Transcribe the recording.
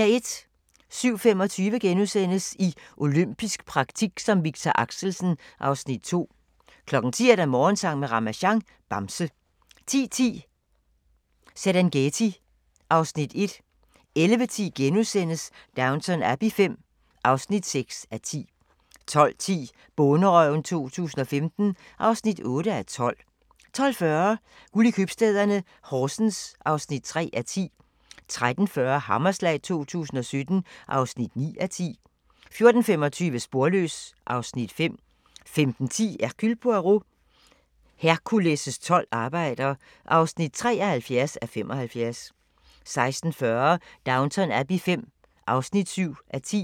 07:25: I olympisk praktik som Victor Axelsen (Afs. 2)* 10:00: Morgensang med Ramasjang | Bamse 10:10: Serengeti (Afs. 1) 11:10: Downton Abbey V (6:10)* 12:10: Bonderøven 2015 (8:12) 12:40: Guld i købstæderne - Horsens (3:10) 13:40: Hammerslag 2017 (9:10) 14:25: Sporløs (Afs. 5) 15:10: Hercule Poirot: Hercules' tolv arbejder (73:75) 16:40: Downton Abbey V (7:10)